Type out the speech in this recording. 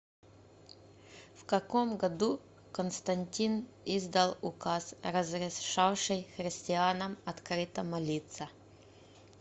в каком году константин издал указ разрешавший христианам открыто молиться